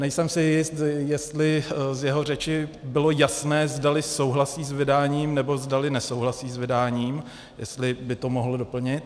Nejsem si jist, jestli z jeho řeči bylo jasné, zdali souhlasí s vydáním, nebo zdali nesouhlasí s vydáním, jestli by to mohl doplnit.